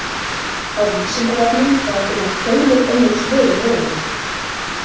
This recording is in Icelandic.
Á Vísindavefnum er að finna fjölmörg önnur svör um jörðina.